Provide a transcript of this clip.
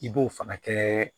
I b'o fana kɛ